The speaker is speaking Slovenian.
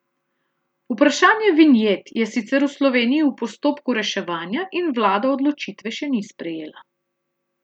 Vprašanje vinjet je sicer v Sloveniji v postopku reševanja in vlada odločitve še ni sprejela.